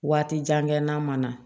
Waati jan kɛ n'a mana